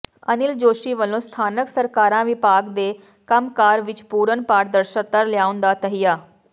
ਅਨਿਲ ਜੋਸ਼ੀ ਵੱਲੋਂ ਸਥਾਨਕ ਸਰਕਾਰਾਂ ਵਿਭਾਗ ਦੇ ਕੰਮਕਾਰ ਵਿੱਚ ਪੂਰਨ ਪਾਰਦਰਸ਼ਤਾ ਲਿਆਉਣ ਦਾ ਤਹੱਈਆ